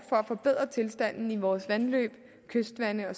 for at forbedre tilstanden i vores vandløb kystvande og